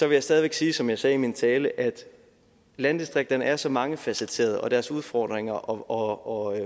jeg stadig væk sige som jeg også sagde i min tale at landdistrikterne er så mangefacetterede og deres udfordringer og